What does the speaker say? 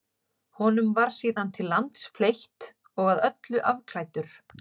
Honum var síðan til lands fleytt og að öllu afklæddur.